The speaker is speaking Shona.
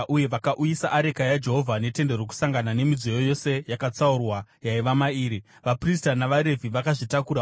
uye vakauyisa areka yaJehovha, neTende Rokusangana nemidziyo yose yakatsaurwa yaiva mairi. Vaprista navaRevhi vakazvitakura,